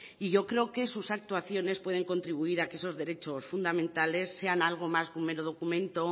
y yo creo que sus actuaciones pueden contribuir a que esos derechos fundamentales sean algo más que un mero documento